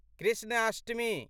Krishnashtami